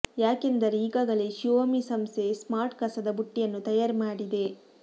ಯಾಕೆಂದರೆ ಈಗಾಗಲೇ ಶಿಯೋಮಿ ಸಂಸ್ಥೆ ಸ್ಮಾರ್ಟ್ ಕಸದ ಬುಟ್ಟಿಯನ್ನು ತಯಾರಿ ಮಾಡಿದೆ